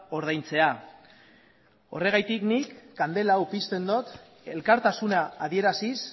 ordaintzea horregatik nik kandela hau pizten dut elkartasuna adieraziz